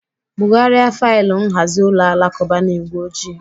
Bugharịa faịlụ nhazi ụlọ alakụba na igwe ojii.